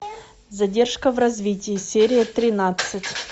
задержка в развитии серия тринадцать